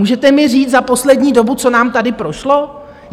Můžete mi říct za poslední dobu, co nám tady prošlo?